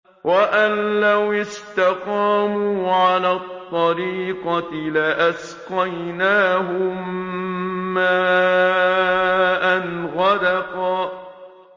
وَأَن لَّوِ اسْتَقَامُوا عَلَى الطَّرِيقَةِ لَأَسْقَيْنَاهُم مَّاءً غَدَقًا